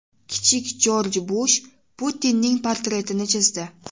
Kichik Jorj Bush Putinning portretini chizdi.